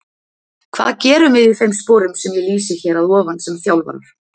Hvað gerum við í þeim sporum sem ég lýsi hér að ofan sem þjálfarar?